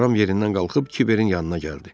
Ram yerindən qalxıb kiberin yanına gəldi.